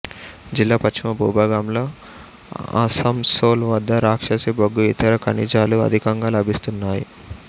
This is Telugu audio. జిల్లా పశ్చిమ భూభాగంలో ఆసంసోల్ వద్ద రాక్షసి బొగ్గు ఇతర కనిజాలు అధికంగా లభిస్తున్నాయి